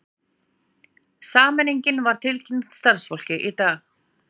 Sameiningin var tilkynnt starfsfólki í dag